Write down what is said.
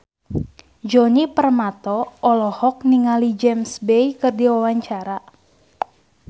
Djoni Permato olohok ningali James Bay keur diwawancara